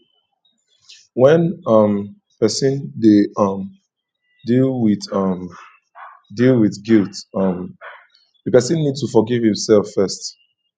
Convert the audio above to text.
when um person dey um deal with um deal with guilt um di person need to forgive im self first